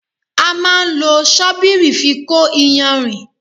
A máa ń lo sọ́bírí fi kó ìyànrìn.